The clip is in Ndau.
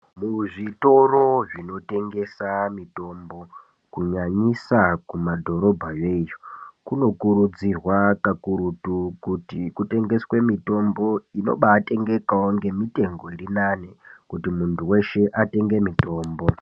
Muzvitoro zvinotengesa mitombo kunyanyisa kumadhorobhayo iyo kunokurudzirwa kakurutu kuti kutengeswe mitombo inobaatengekawo ngemitengo irinani kuti muntu weshe atenge mitombo.